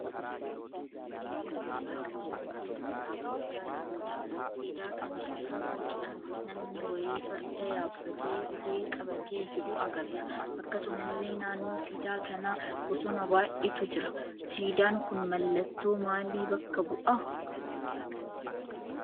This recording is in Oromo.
Fakkiin kun siidaa bosona keessa dhaabbachaa jiruudha. Siidaa kana irra boca namni wayii farda yaabbatee ulee qabatee jiru agarra. Akkasumallee naannoo siidaa kanaa bosona baay'eetu jira. Siidaan kun mallattoo maalii bakka bu'a?